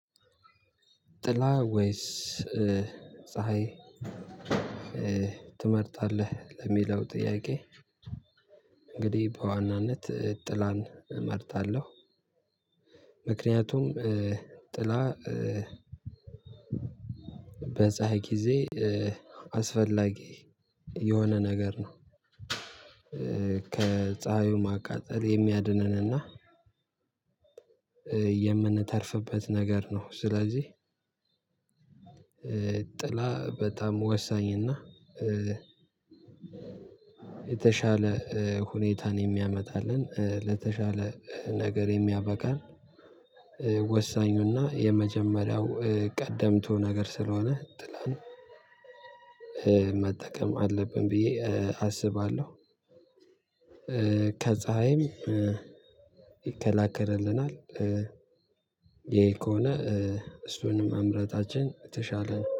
ጥላ ወይስ ፀሀይ ትመርጣለህ ለሚለው ጥያቄ እንግዲህ በዋናነት ጥላን እመርጣለሁ። ምክንያቱም ጥላ በፀሀይ ጊዜ አስፈላጊ የሆነ ነገር ነው። ከፀሀዩ ማቃጠል የሚያድነንና የምንተርፍበት ነገር ነው። ስለዚህ ጥላ በጣም ወሳኝ እና የተሻለ ሁኔታን የሚያመጣልን ለተሻለ ነገር የሚያበቃ። ወሳኙና የመጀመሪያው ቀደምቶ ነገር ስለሆነ ጥላን መጠቀም አለብን ብዬ አስባለሁ። ከፀሀይም ይከላከልልናል። ይሄ ከሆነ እሱንም መምረጣችን የተሻለ